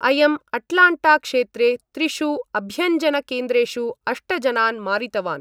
अयं अटलाण्टाक्षेत्रे त्रिषु अभ्यञ्जनकेन्द्रेषु अष्ट जनान् मारितवान्।